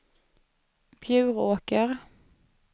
Bjuråker